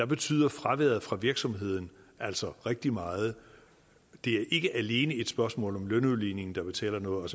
betyder fraværet fra virksomheden altså rigtig meget det er ikke alene et spørgsmål om lønudligningen der betyder noget